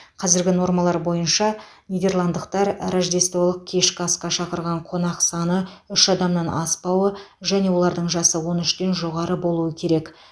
қазіргі нормалар бойынша нидерландықтар рождестволық кешкі асқа шақырған қонақ саны үш адамнан аспауы және олардың жасы он үштен жоғары болуы керек